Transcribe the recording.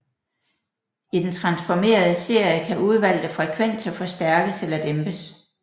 I den transformerede serie kan udvalgte frekvenser forstærkes eller dæmpes